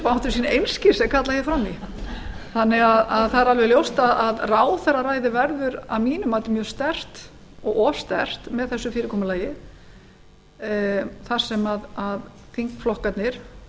einskis er kallað hér fram í þannig að það er alveg ljóst að ráðherraræði verður að mínu mati mjög sterkt og of sterkt með þessu fyrirkomulagi þar sem þingflokkarnir